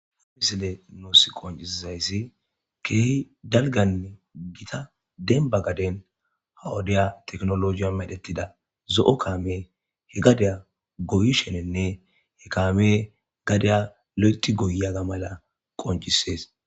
ha misile nuus qoncisizayssi keehi dalganne gita denba gaden hawudiya teknolojiya medhettida zo7o kaame he gadiya goyshenenne he kaame gadiya lo7eti goyyaga mala qoncisees